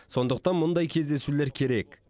сондықтан мұндай кездесулер керек